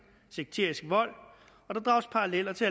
sekterisk vold og der drages paralleller til